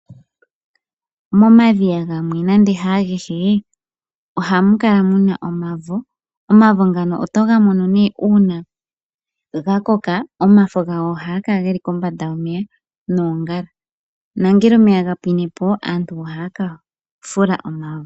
Momadhiya gamwe nande haa gehe oto adhamo omwavo oto ga mono nee uuna ga koka omafo gawo oha ga kala geli kombanda yomeya noon gala nongele omeya ga pwinepo aantu ohaya ka fula omwavo.